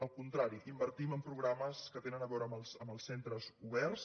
al contrari invertim en programes que tenen a veure amb els centres oberts